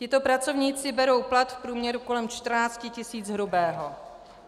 Tito pracovníci berou plat v průměru kolem 14 tis. hrubého.